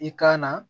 I kan na